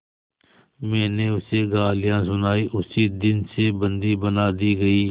मैंने उसे गालियाँ सुनाई उसी दिन से बंदी बना दी गई